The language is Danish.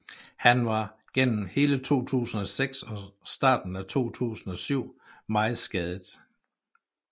Han var gennem hele 2006 og starten af 2007 meget skadet